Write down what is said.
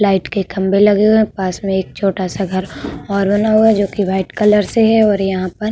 Light के खंबे लगे हुए हैं। पास में एक छोटा सा घर और बना हुआ जोकि व्हाइट कलर से है और यहाँ पर --